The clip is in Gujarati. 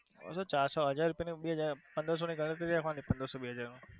ચારસો હાજર રૂપિયાની પંદરસો ની ગણતરી છે પંદરસો બે હાજર માં.